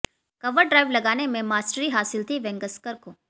cover drive लगाने में mastery हासिल थी वेंगसरकर को